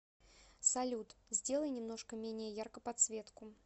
салют сделай немножко менее ярко подсветку